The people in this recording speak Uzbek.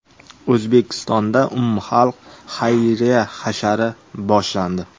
O‘zbekistonda umumxalq xayriya hashari boshlandi.